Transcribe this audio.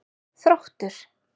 Þróttur